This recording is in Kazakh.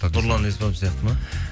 нұрлан еспанов сияқты ма